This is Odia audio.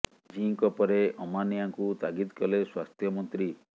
ଜି ଙ୍କ ପରେ ଅମାନିଆଙ୍କୁ ତାଗିଦ କଲେ ସ୍ବାସ୍ଥ୍ୟ ମନ୍ତ୍ରୀ